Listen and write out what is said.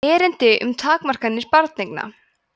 erindi um takmarkanir barneigna